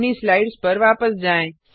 अपनी स्लाइड्स पर वापस जाएँ